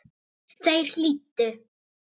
Þeir hlýddu.